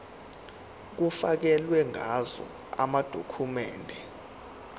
kufakelwe ngazo amadokhumende